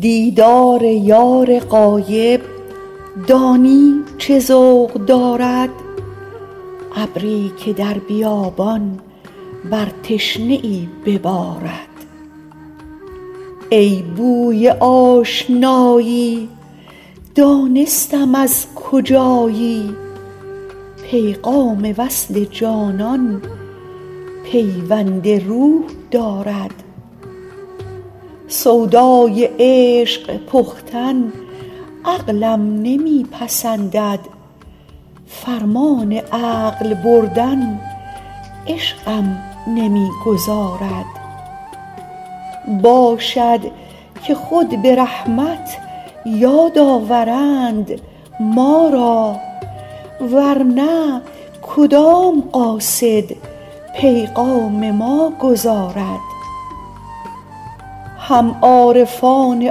دیدار یار غایب دانی چه ذوق دارد ابری که در بیابان بر تشنه ای ببارد ای بوی آشنایی دانستم از کجایی پیغام وصل جانان پیوند روح دارد سودای عشق پختن عقلم نمی پسندد فرمان عقل بردن عشقم نمی گذارد باشد که خود به رحمت یاد آورند ما را ور نه کدام قاصد پیغام ما گزارد هم عارفان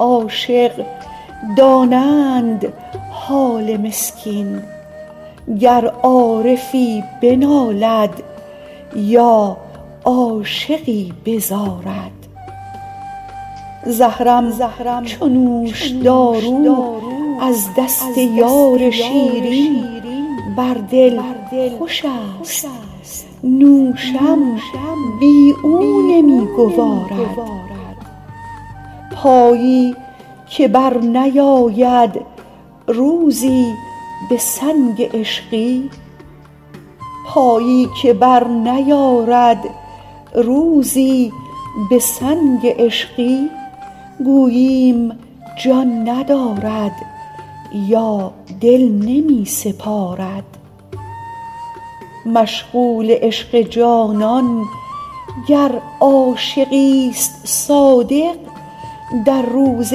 عاشق دانند حال مسکین گر عارفی بنالد یا عاشقی بزارد زهرم چو نوشدارو از دست یار شیرین بر دل خوشست نوشم بی او نمی گوارد پایی که برنیارد روزی به سنگ عشقی گوییم جان ندارد یا دل نمی سپارد مشغول عشق جانان گر عاشقیست صادق در روز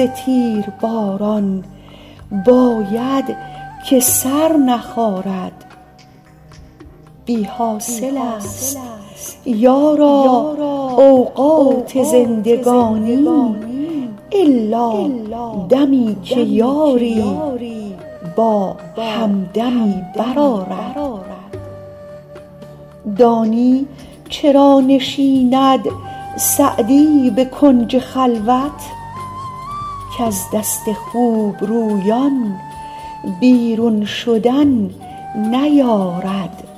تیرباران باید که سر نخارد بی حاصلست یارا اوقات زندگانی الا دمی که یاری با همدمی برآرد دانی چرا نشیند سعدی به کنج خلوت کز دست خوبرویان بیرون شدن نیارد